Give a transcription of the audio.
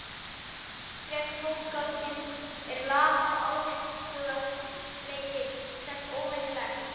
Vinnuþrek tónskáldsins er lamað og áhugaleysi þess óvenjulegt.